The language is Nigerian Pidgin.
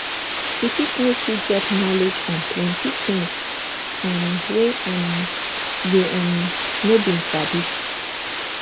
e fit make you get knowledge on plenty things um wey um you um no been sabi